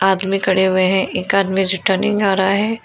आदमी खड़े हुए हैं एक आदमी रिटर्निंग आ रहा है।